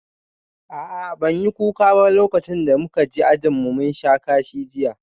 A'a ban yi kuka ba lokacin da muka ji ajin mun sha kashi jiya